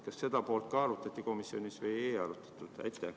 Kas seda ka arutati komisjonis või ei arutatud?